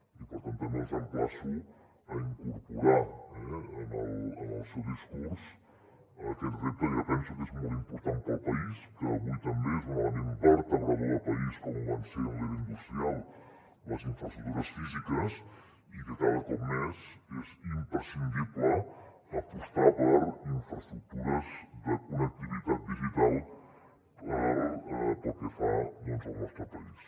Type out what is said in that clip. i per tant també els emplaço a incorporar en el seu discurs aquest repte que penso que és molt important per al país que avui també és un element vertebrador de país com ho van ser en l’era industrial les infraestructures físiques i que cada cop més és imprescindible apostar per infraestructures de connectivitat digital pel que fa al nostre país